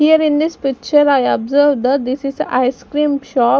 here in this picture I observed that this is ice cream shop.